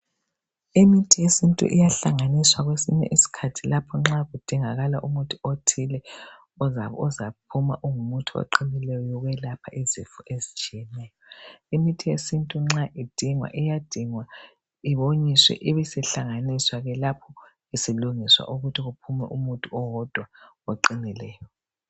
Imithi yesintu iyahlanganiswa kwesinye isikhathi lapho nxa kudingakala umuthi othile ozaphuma ungumuthi oqinileyo wokwelapha izifo ezitshiyeneyo. Imithi yesintu nxa idingwa iyadingwa iwonyiswe ibisihlanganiswa ke lapho isilungiswa ukuthi kuphume umuthi owodwa oqinileyo.